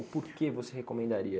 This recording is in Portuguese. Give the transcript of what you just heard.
O por que você recomendaria?